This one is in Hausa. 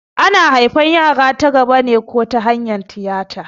Ana haifan yara ta gaba ko ta hanyar tiyata